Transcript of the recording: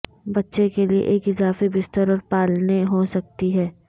بچے کے لئے ایک اضافی بستر اور پالنے ہو سکتی ہے